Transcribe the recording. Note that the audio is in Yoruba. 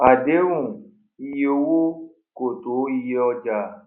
àdéhùn iye owó kò tó iyé ọjà